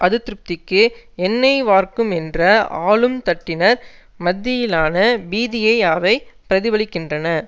அதிருப்திக்கு எண்ணெய் வார்க்கும் என்ற ஆளும் தட்டினர் மத்தியிலான பீதியை அவை பிரதிபலிக்கின்றன